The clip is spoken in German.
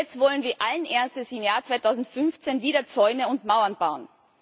Und jetzt wollen wir allen Ernstes im Jahr 2015 wieder Zäune und Mauern bauen?